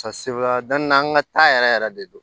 an ka ta yɛrɛ yɛrɛ de don